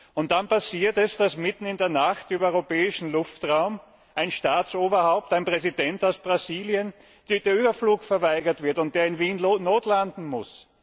Und dann passiert es, dass mitten in der Nacht im europäischen Luftraum einem Staatsoberhaupt, einem Präsidenten aus Brasilien, der Überflug verweigert wird und dieser dann in Wien notlanden muss.